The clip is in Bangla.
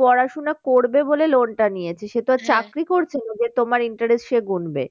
পড়াশোনা করবে বলে loan টা নিয়েছে সে তো আর করছে না যে তোমার interest সে গুনবে।